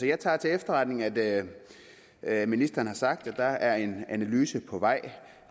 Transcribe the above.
jeg tager til efterretning at at ministeren har sagt at der er en analyse på vej